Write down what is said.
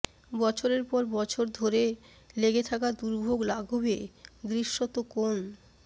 বছরের পর বছর ধরে লেগে থাকা দুর্ভোগ লাঘবে দৃশ্যত কোন